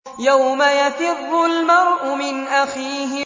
يَوْمَ يَفِرُّ الْمَرْءُ مِنْ أَخِيهِ